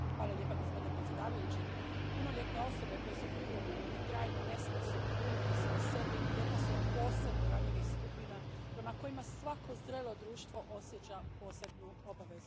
Gospodine predsjedniče, punoljetne osobe koje su privremeno ili trajno nesposobne brinuti se o sebi jedna su od posebno ranjivih skupina prema kojima svako zrelo društvo osjeća posebnu obvezu.